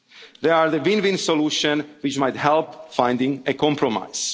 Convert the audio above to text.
fund our ambitions. They are the win-win solution which might help to